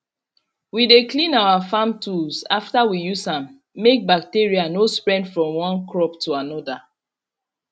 we dey clean our farm tools after we use am make bacteria no spread from one crop to another